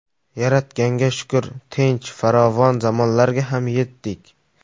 Yaratganga shukr, tinch, farovon zamonlarga ham yetdik.